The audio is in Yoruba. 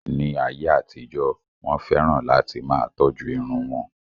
Ní ayé àtijó, Wọ́n fẹ́ràn láti máa tọ́jú irun wọn.